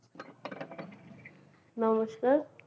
নমস্কার